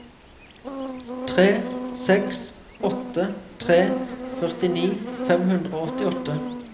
tre seks åtte tre førtini fem hundre og åttiåtte